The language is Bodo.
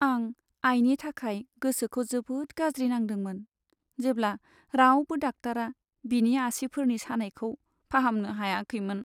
आं आइनि थाखाय गोसोखौ जोबोद गाज्रि नांदोंमोन, जेब्ला रावबो डाक्टारा बिनि आसिफोरनि सानायखौ फाहामनो हायाखैमोन।